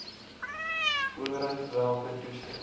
owerheid welke toestemming